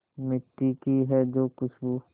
मिट्टी की है जो खुशबू